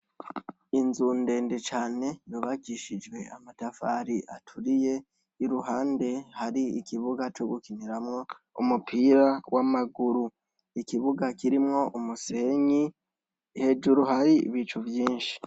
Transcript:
Inzu ndende cane yubakishijwe amatafari aturiye iruhande hari ikibuga co gukiniramwo umupira w'amaguru. Ikibuga kirimwo umusenyi hejuru hari ibicu vyinshi.